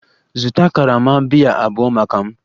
Zụta karama biya abụọ maka m!